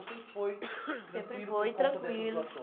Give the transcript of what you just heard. Ou sempre foi tranquilo por conta dessas doações? Sempre foi tranquilo.